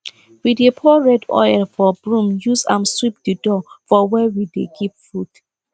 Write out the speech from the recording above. we dey pour red oil for broom use am sweep the door for where we dey keep food